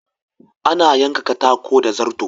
Ana yanka katako da zarto.